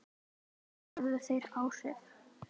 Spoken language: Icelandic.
Helga: Höfðu þeir áhrif?